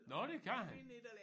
Nåh det kan han